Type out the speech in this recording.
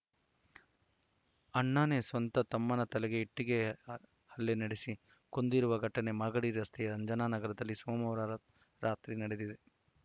ಅಣ್ಣನೇ ಸ್ವತಃ ತಮ್ಮನ ತಲೆಗೆ ಇಟ್ಟಿಗೆ ಹಲ್ಲೆ ನಡೆಸಿ ಕೊಂದಿರುವ ಘಟನೆ ಮಾಗಡಿ ರಸ್ತೆಯ ಅಂಜನಾ ನಗರದಲ್ಲಿ ಸೋಮವಾರ ರಾತ್ರಿ ನಡೆದಿದೆ